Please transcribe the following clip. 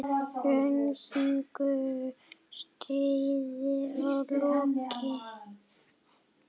Löngu stríði er lokið.